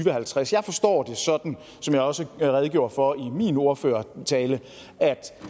og halvtreds jeg forstår det sådan som jeg også redegjorde for i min ordførertale at